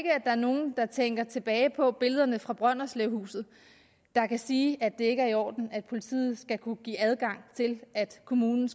er nogen der tænker tilbage på billederne fra brønderslevhuset der kan sige at det ikke er i orden at politiet skal kunne give adgang til at kommunen